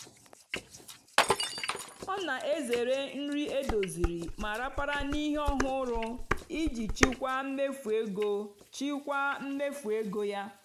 ọ́ nà-èzèré nrì édòzírí mà ràpárá nà íhé ọ́hụ́rụ́ ìjì chị́kwáà mméfú égó chị́kwáà mméfú égó yá.